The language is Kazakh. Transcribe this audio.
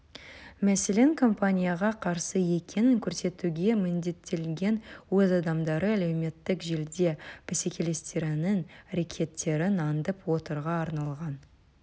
мәселен компанияға қарсы екенін көрсетуге міндеттелген өз адамдары әлеуметтік желіде бәсекелестерінің әрекеттерін аңдып отыруға арналған